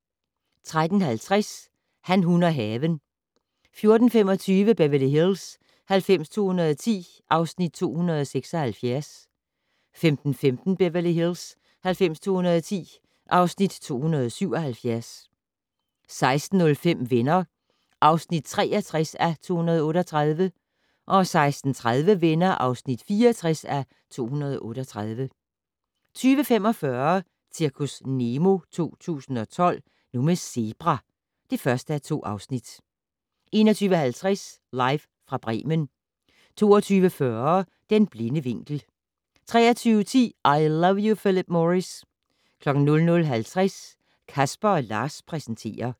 13:50: Han, hun og haven 14:25: Beverly Hills 90210 (Afs. 276) 15:15: Beverly Hills 90210 (Afs. 277) 16:05: Venner (63:238) 16:30: Venner (64:238) 20:45: Zirkus Nemo 2012 - Nu med zebra! (1:2) 21:50: Live fra Bremen 22:40: Den blinde vinkel 23:10: I Love You Phillip Morris 00:50: Casper & Lars præsenterer